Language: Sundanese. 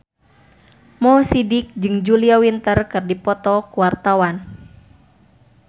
Mo Sidik jeung Julia Winter keur dipoto ku wartawan